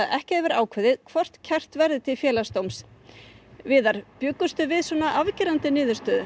ekki hafi verið ákveðið hvort kært verði til Félagsdóms bjóstu við svona afgerandi niðurstöðu